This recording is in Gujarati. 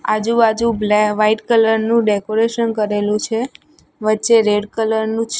આજુ બાજુ બ્લે વાઈટ કલર નું ડેકોરેશન કરેલું છે વચ્ચે રેડ કલર નું--